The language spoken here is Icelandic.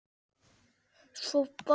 Svo bar Helgi